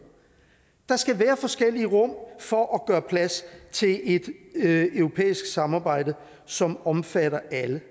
der skal være forskellige rum for at gøre plads til et europæisk samarbejde som omfatter alle det